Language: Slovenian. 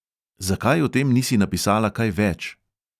Zakaj o tem nisi napisala kaj več?